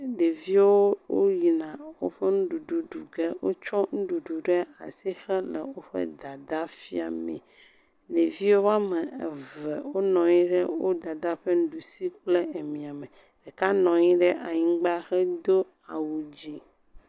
ɖeviwo woyina woƒe ŋuɖuɖu ɖuge wótsɔ ŋuɖuɖu ɖe asi hele wó dada fiame ɖevi wɔmeve wó nɔnyi ɖe wó dada ƒe ŋuɖusi kple emia me ɖeka nɔnyi ɖe anyigbã hedó awu dzĩ